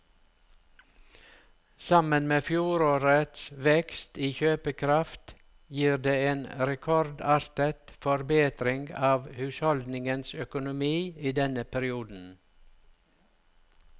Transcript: Sammen med fjorårets vekst i kjøpekraft gir det en rekordartet forbedring av husholdningenes økonomi i denne perioden.